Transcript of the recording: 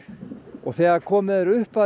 og þegar komið er upp að